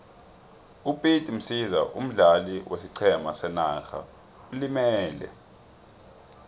upete msiza omdlali wesiqhema senarha ulimele